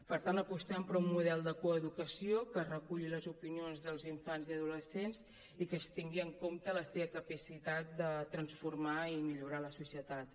per tant apostem per un model de coeducació que reculli les opinions dels infants i adolescents i que es tingui en compte la seva capacitat de transformar i millorar la societat